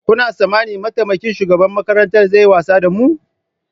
Kuna tsammanin mataimakin shugaban makarantar zai yi wasa da mu?